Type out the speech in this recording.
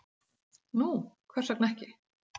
Nú hvers vegna ekki?